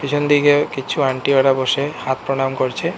পিছন দিকে কিছু আন্টি ওরা বসে হাত প্রণাম করছে।